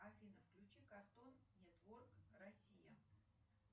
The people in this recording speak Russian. афина включи картон нетворк россия